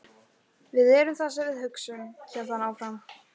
Við erum það sem við hugsum- hélt hann áfram.